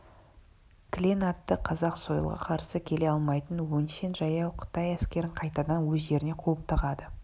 кілең атты қазақ сойылға қарсы келе алмайтын өңшең жаяу қытай әскерін қайтадан өз жеріне қуып тығады